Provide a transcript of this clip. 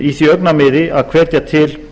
í því augnamiði að hvetja til